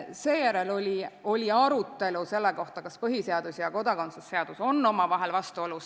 Seejärel oli arutelu selle üle, kas põhiseadus ja kodakondsuse seadus on omavahel vastuolus.